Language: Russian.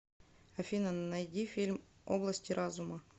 афина найди фильм области разума